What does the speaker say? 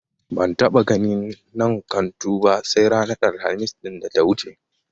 Ban taɓa ganin man kantu ba sai ranar Alhamis ɗin da ta wuce.